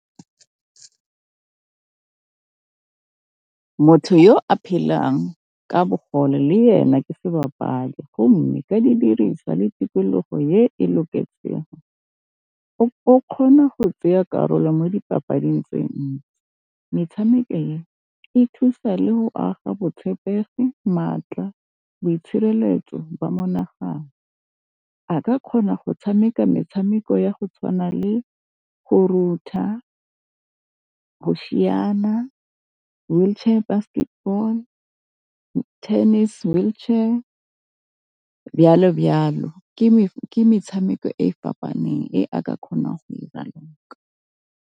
Motho yo a phelang ka bogole le yena ke sebapadi go mme ka didiriswa le tikologo e loketsego. O kgona go tsaya karolo mo dipapadi tse ntsi. Metshameko e, e thusa le go aga botshepegi, maatla, boitshireletso ba mo naganano. A ka kgona go tshameka metshameko ya go tshwana le go go siana, wheelchair basketball, tennis wheelchair, ke metshameko e fapaneng e a ka kgona go e raloka.